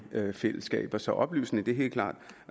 fællesskaber så oplysning er helt klart